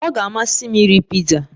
Ọ ga-amasị m iri piza